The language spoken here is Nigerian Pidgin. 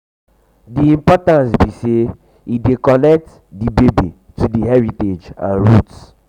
di importance be say e dey connect e dey connect di baby to di heritage and roots.